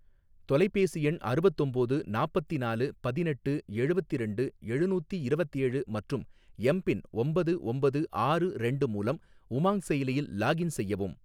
தொலைபேசி எண் அறுவத்தொம்போது நாப்பத்திநாலு பதினெட்டு எழுவத்திரண்டு எழுநூத்தி இரவத்தேழு மற்றும் எம் பின் ஒம்பது ஒம்பது ஆறு ரெண்டு மூலம் உமாங் செயலியில் லாக்இன் செய்யவும்